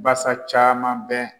Basa caaman bɛ